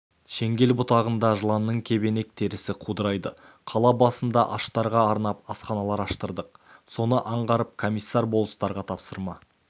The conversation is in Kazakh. шеңгел бұтағында жыланның кебенек терісі қаудырайды қала басында аштарға арнап асханалар аштырдық соны аңғарып комиссар-болыстарға тапсырма